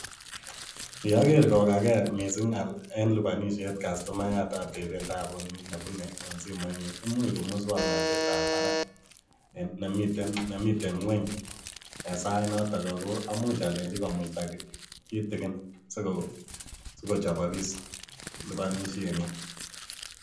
Ye aker kokagei mising eng lipanishet cuctomayat atepe taput nebune en simoinyin, imuch ko muswoknotetab barak nemiten ngueny en sait noto ako amuch alenjin komuita kitikin siko chobokis liponishenyin.